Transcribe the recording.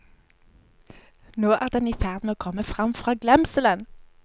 Nå er den i ferd med å komme frem fra glemselen.